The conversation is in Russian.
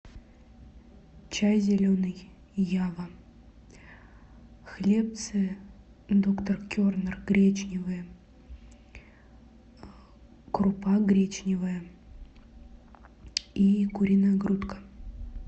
чай зеленый ява хлебцы доктор кернер гречневые крупа гречневая и куриная грудка